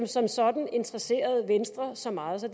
som sådan interesserede venstre så meget så